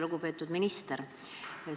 Lugupeetud minister!